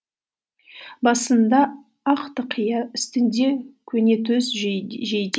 басында ақ тақия үстінде көнетоз жейде